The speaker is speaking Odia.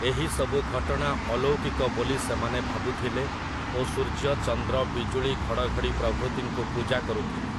ଏହିସବୁ ଘଟଣା ଅଲୌକିକ ବୋଲି ସେମାନେ ଭାବୁଥିଲେ ଓ ସୂର୍ଯ୍ୟ, ଚନ୍ଦ୍ର, ବିଜୁଳି, ଘଡ଼ଘଡ଼ି ପ୍ରଭୃତିଙ୍କୁ ପୂଜା କରୁଥିଲେ ।